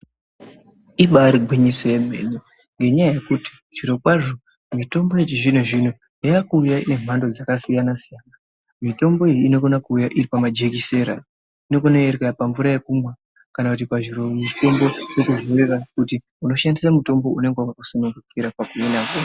Ibaari gwinyiso yemene, ngenyaya yekuti zvirokwazvo mitombo yechizvino-zvino yaakuuya inemhando dzakasiyana-siyana. Mitombo iyi inokona kuuya iripamajekisera, inokona kuuya iri pamvura yekumwa kana kuti pazviromutombo. Yokuvhumira kuti unokona kushandisa mutombo unenge wakakusunungukira pakuzvirapa.